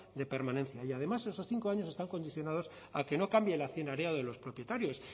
de permanencia y además en esos cinco años están condicionados a que no cambie el accionariado de los propietarios